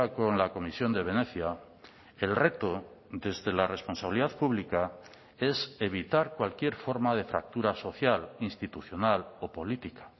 con la comisión de venecia el reto desde la responsabilidad pública es evitar cualquier forma de fractura social institucional o política